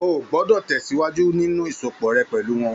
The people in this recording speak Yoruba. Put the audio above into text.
O o gbọdọ tẹsiwaju nínú ìsopọ̀ rẹ pẹlú wọn!